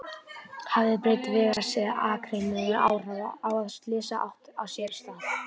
Hafði breidd vegarins eða akreinanna áhrif á að slysið átti sér stað?